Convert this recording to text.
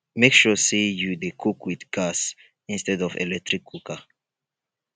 mek sure say yu dey cook wit gas instead of electric cooker